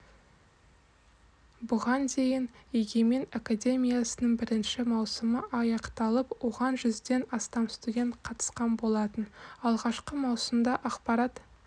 бұған дейін егемен академиясының бірінші маусымы аяқталып оған жүзден астам студент қатысқан болатын алғашқы маусымда ақпарат